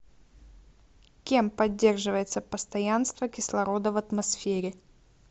кем поддерживается постоянство кислорода в атмосфере